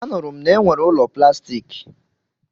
A nụrụ m na-enwere ụlọ plastiki.